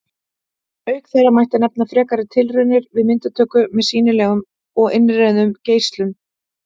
Auk þeirra mætti nefna frekari tilraunir við myndatöku með sýnilegum og innrauðum geislum.